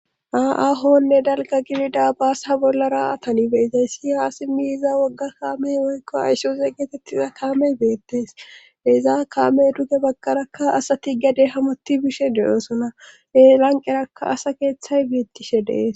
onne dalga gidida baasa bollara atani beizayssi haasi miiza wogga kaamey woykko aysoze geetettiza kaamey beettees deizaa kaamey duge bagkarakka asati gede hamotti bishe deyoosona e lanqerakka asa keeththay biittishe dees